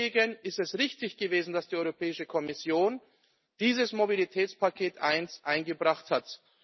Deswegen ist es richtig gewesen, dass die Europäische Kommission dieses Mobilitätspaket I eingebracht hat.